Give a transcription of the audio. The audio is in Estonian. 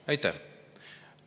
Aitäh!